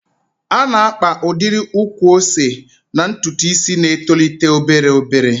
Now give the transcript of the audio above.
A na-akpa udiri ukwu ose n'ntụtụ isi na-etolite obere obere.